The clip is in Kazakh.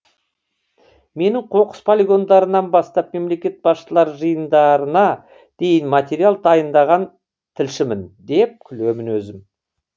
мен қоқыс полигондарынан бастап мемлекет басшылары жиындарына дейін материал дайындаған тілшімін деп күлемін өзім